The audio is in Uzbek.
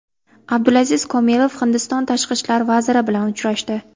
Abdulaziz Komilov Hindiston tashqi ishlar vaziri bilan uchrashdi.